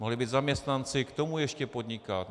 Mohli být zaměstnanci, k tomu ještě podnikat.